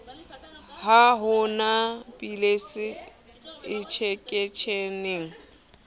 ha ho na pilisi enjekeshene